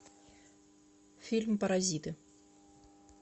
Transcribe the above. фильм паразиты